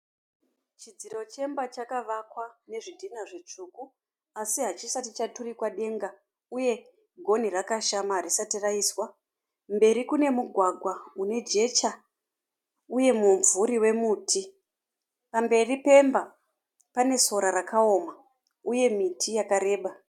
Chidziro chemba chakavakwa nezvidhina zvitsvuku. Asi hachisati chaturikwa denga. Uye goni rakashama hatisati raiswa. Mberi kune mugwagwa unejecha uye mumvuri wemuti. Pamberi Pemba pane sora rakaoma uye miti yakareba.